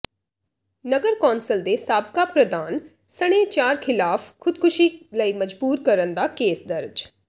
ਨਗਰ council ਦੇ ਸਾਬਕਾ ਪ੍ਰਧਾਨ ਸਣੇ ਚਾਰ ਖ਼ਿਲਾਫ਼ ਖ਼ੁਦਕੁਸ਼ੀ ਲਈ ਮਜਬੂਰ ਕਰਨ ਦਾ ਕੇਸ ਦਰਜ